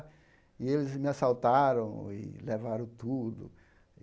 E eles me assaltaram e levaram tudo.